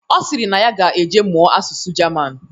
Ọ sịrị na ya ga-eje mụọ asụsụ Jaman